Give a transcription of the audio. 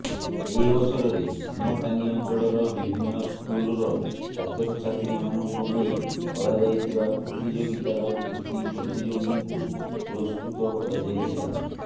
ଏହି ଅବସରରେ ଭୀମଟାଙ୍ଗି ଅଞ୍ଚଳର ବିଭିନ୍ନ ସ୍କୁଲ୍ର ଛାତ୍ରଛାତ୍ରୀମାନଙ୍କୁ ନେଇ କରାଯାଇଥିବା ପ୍ରତିଯୋଗିତାର କୃତୀ ପ୍ରତିଯୋଗୀଙ୍କୁ ପୁରସ୍କୃତ କରାଯାଇଥିଲା